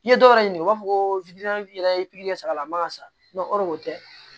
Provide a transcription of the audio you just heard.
I ye dɔw yɛrɛ ɲini u b'a fɔ ko yɛrɛ ye pikiri kɛ a la a man ka sa o de o tɛ